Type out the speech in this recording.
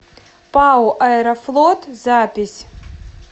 пао аэрофлот запись